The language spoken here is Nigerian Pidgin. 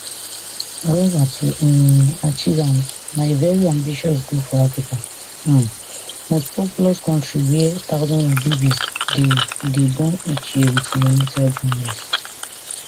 however to um achieve am na a very ambitious goal for africa um mostpopulous kontri wia thousands of babies dey dey born each year wit neonatal jaundice